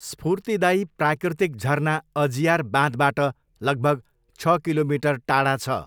स्फूर्तिदायी प्राकृतिक झर्ना अजियार बाँधबाट लगभग छ किलोमिटर टाढा छ।